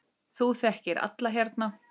Þú þekkir alla hérna.